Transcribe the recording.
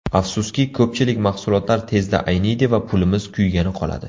Afsuski, ko‘pchilik mahsulotlar tezda ayniydi va pulimiz kuygani qoladi.